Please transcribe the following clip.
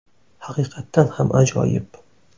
Haqiqatan ham ajoyib!”.